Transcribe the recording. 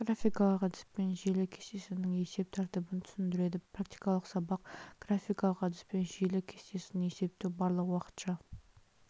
графикалық әдіспен желі кестесінің есеп тәртібін түсіндіреді практикалық сабақ графикалық әдіспен желі кестесін есептеу барлық уақытша